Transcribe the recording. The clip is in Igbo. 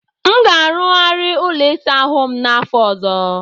Aga m arụghari ụlọ ịsa ahụ m n'afọ ọzọ.